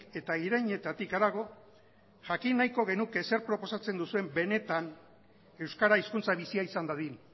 eta irainetatik harago jakin nahiko genuke zer proposatzen duzuen benetan euskara hizkuntza bizia izan dadin